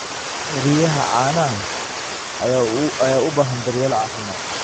Riyaha caanaha ayaa u baahan daryeel caafimaad.